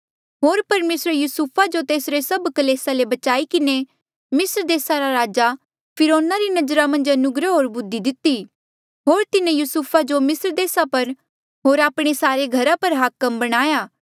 होर परमेसरे युसुफे तेसरे सभ कलेसा ले बचाई किन्हें मिस्र देसा रे राजा फिरौना री नजरा मन्झ अनुग्रह होर बुद्धि दिती होर तिन्हें युसुफा जो मिस्र देसा पर होर आपणे सारे घरा पर हाकम बणाया